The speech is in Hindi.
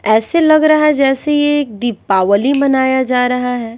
ऐसे लग रहा है जैसे ये एक दीपावली मनाया जा रहा है।